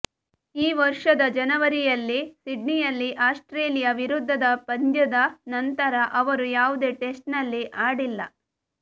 ಈ ವರ್ಷದ ಜನವರಿಯಲ್ಲಿ ಸಿಡ್ನಿಯಲ್ಲಿ ಆಸ್ಟ್ರೇಲಿಯಾ ವಿರುದ್ಧದ ಪಂದ್ಯದ ನಂತರ ಅವರು ಯಾವುದೇ ಟೆಸ್ಟ್ನಲ್ಲಿ ಆಡಿಲ್ಲ